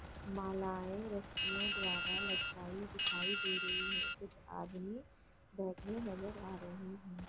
मालाएं रस्सियों द्वारा लटकाई दिखाई दे रही है कुछ आदमी बैठे नजर आ रहे है।